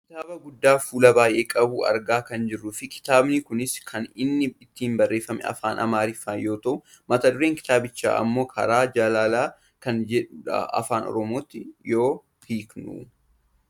kitaaba guddaa fuula baayyee qabu argaa kan jirruu fi kitaabni kunis kan inni ittiin barreeffame afaan amariffaa yoo ta'u mata dureen kitaabichaa ammoo karaa jaalalaan kan jedhudha afaan oromootti yoo hiikamu.